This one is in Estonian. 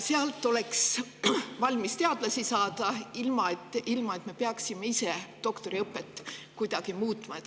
Sealt oleks saada valmis teadlasi, ilma et me peaksime oma doktoriõpet kuidagi muutma.